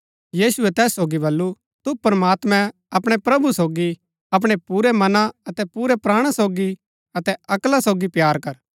यीशुऐ तैस सोगी बल्लू तु प्रमात्मैं अपणै प्रभु सोगी अपणै पुरै मना अतै पुरै प्राणा सोगी अतै अक्ला सोगी प्‍यार कर